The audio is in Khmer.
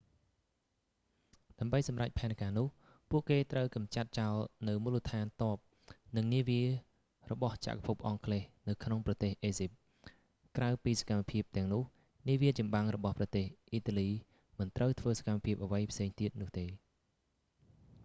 ដើម្បីសម្រេចផែនការនោះ ពួកគេត្រូវកម្ចាត់ចោលនូវមូលដ្ឋានទ័ព និងនាវារបស់ចក្រភពអង់គ្លេសនៅក្នុងប្រទេសអេហ្ស៊ីប ក្រៅពីសកម្មភាពទាំងនោះ នាវាចម្បាំងរបស់ប្រទេសអ៊ីតាលីមិនត្រូវធ្វើសកម្មភាពអ្វីផ្សេងទៀតនោះទេ